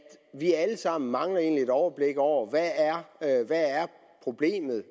vi egentlig alle sammen mangler et overblik over hvad problemet